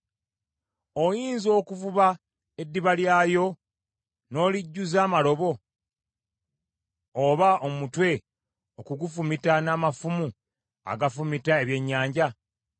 Oyinza okuvuba eddiba lyayo n’olijjuza amalobo, oba omutwe okugufumita n’amafumu agafumita ebyennyanja?